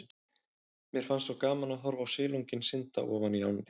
Mér fannst svo gaman að horfa á silunginn synda ofan í ánni.